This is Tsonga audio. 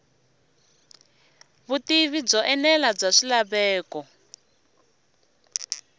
vutivi byo enela bya swilaveko